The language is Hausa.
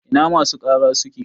Ina masu ƙara suke?